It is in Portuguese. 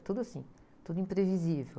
É tudo assim, tudo imprevisível.